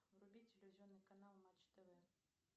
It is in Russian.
вруби телевизионный канал матч тв